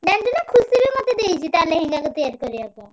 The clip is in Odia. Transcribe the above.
ଜାଣିଚୁନା ଖୁସି ବି ମତେ ଦେଇଚି ତା ଲେହେଙ୍ଗାକୁ ତିଆରି କରିବା ପାଇଁ।